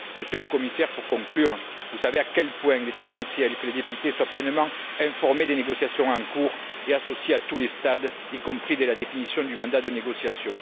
Pour conclure, Monsieur le Commissaire, vous savez à quel point il est essentiel que les députés soient pleinement informés des négociations en cours et associés à tous les stades, y compris dès la définition du mandat de négociation.